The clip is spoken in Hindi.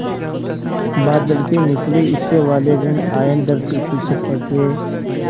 बादल के निचले हिस्से वाले ॠण आयन धरती की सतह के